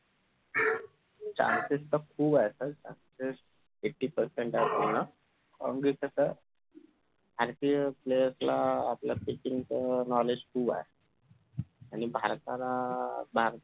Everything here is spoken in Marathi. chances तर खुप आहे eighty percent आहे पूर्ण म्हणजे कसं IPLplayers ला आपल्या pitching च knowledge खूब आहे आणि भारताला भार